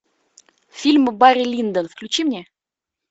фильм барри линдон включи мне